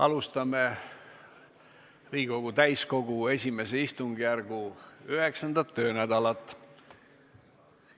Alustame Riigikogu täiskogu I istungjärgu 9. töönädalat.